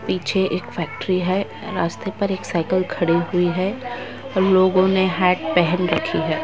पीछे एक फैक्ट्री है रास्ते पर एक साइकिल खड़ी हुई है और लोगों ने हैक पहन रखी है